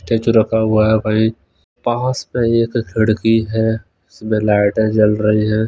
Statue रखा हुआ है वहीं पास में एक खिड़की है उसमें लाइटें जल रही है।